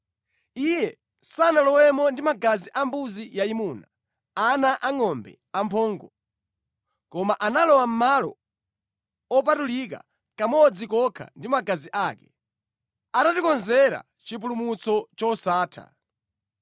Iye sanalowemo ndi magazi ambuzi yayimuna, ana angʼombe amphongo, koma analowa Malo Opatulika kamodzi kokha ndi magazi ake, atatikonzera chipulumutso chosatha.